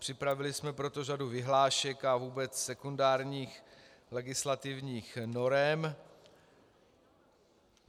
Připravili jsme proto řadu vyhlášek a vůbec sekundárních legislativních norem.